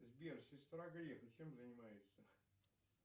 сбер сестра грефа чем занимается